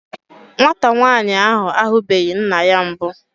Nwata nwaanyị ahụ ahubeghi nna ya mbụ.